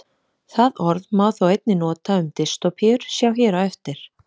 Það orð má þó einnig nota um dystópíur, sjá hér á eftir.